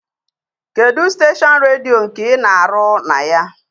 Kedụ steshọn redio nke ị na-arụ na ya?